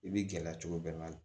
I b'i gɛlɛya cogo bɛɛ la